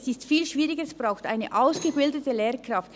Es ist viel schwieriger, es braucht eine ausgebildete Lehrkraft.